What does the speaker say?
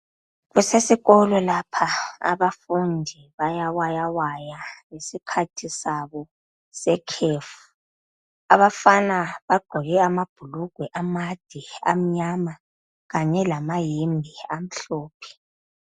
Kusesikolo lapha, abafundi bayawayawaya ngesikhathi sabo sekhefu. Abafana bagqoke amabhulugwe amade amnyama, kanye lamayembe amhlophe.